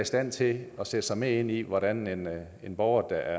stand til at sætte sig mere ind i hvordan en hvordan en borger der